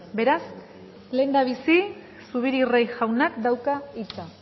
beraz lehendabizi zubiri rey jaunak dauka hitza